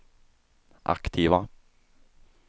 aktiva